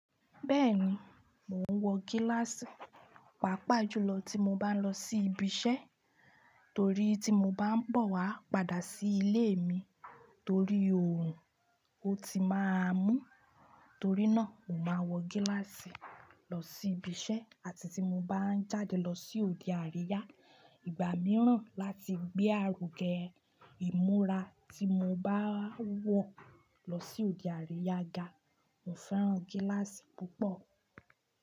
Bẹ́ẹ̀ni, mò ń wọ gíláàsì pàápàá jùlọ tí mo bá ń lọ sí ibi iṣẹ́ torí tí mo bá ń bọ̀ wá padà sí ilé mi torí òòrùn, ó ti máa mú. Torí náà, mo máa wọ gíláàsì lọ sí ibi iṣẹ́ àti tí mo bá ń jáde lọ sí òde àríyá ìgbà mìíràn láti gbé àrùn gé ìmúra tí mo bá wọ̀ lọ sí òde àríyá ga. Mo fẹ́ràn gíláàsì púpọ̀.